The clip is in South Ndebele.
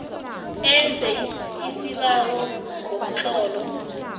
enze isibawo ngomtlolo